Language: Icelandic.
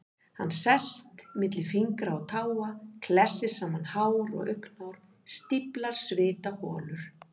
Hann sest milli fingra og táa, klessir saman hár og augnhár, stíflar svitaholur.